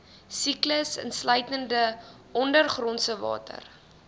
siklus insluitende ondergrondsewater